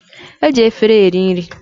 E ji afere eri nri.